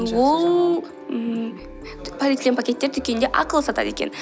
ол ммм полиэтилен пакеттер дүкенде ақылы сатады екен